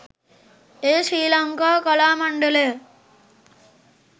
එය ශ්‍රී ලංකා කලා මණ්ඩලය